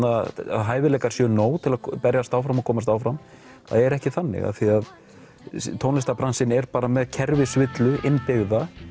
hæfileikar séu nóg til að berjast áfram og komast áfram það er ekki þannig af því að tónlistarbransinn er bara með kerfisvillu innbyggða